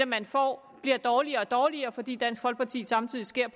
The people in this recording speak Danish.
man får bliver dårligere og dårligere fordi dansk folkeparti samtidig skærer